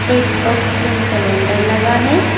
एक oxygen cylinder लगा है।